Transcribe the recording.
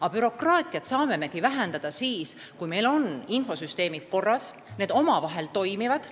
Aga bürokraatiat me saame vähendada siis, kui meil on infosüsteemid korras, kui need omavahel haakuvad.